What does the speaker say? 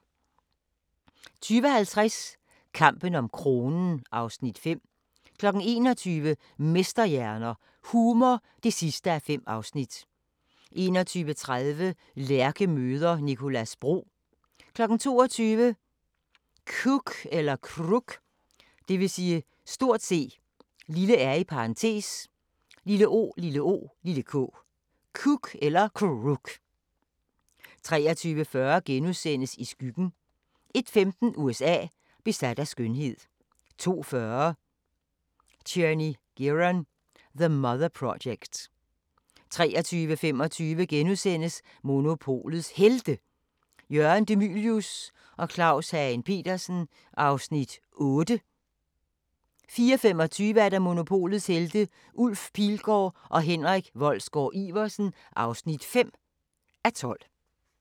20:50: Kampen om kronen (Afs. 5) 21:00: Mesterhjerner – Humor (5:5) 21:30: Lærke møder Nicolas Bro 22:00: C(r)ook 23:40: I skyggen * 01:15: USA: Besat af skønhed 02:40: Tierney Gearon: The Mother Project 03:35: Monopolets Helte – Jørgen De Mylius og Claus Hagen Petersen (8:12)* 04:25: Monopolets Helte – Ulf Pilgaard og Henrik Wolsgaard-Iversen (5:12)